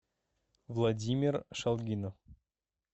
владимир шалгинов